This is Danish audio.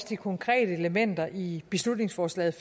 de konkrete elementer i beslutningsforslaget